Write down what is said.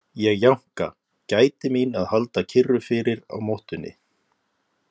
Ég jánka, gæti mín að halda kyrru fyrir á mottunni.